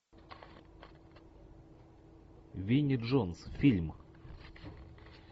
винни джонс фильм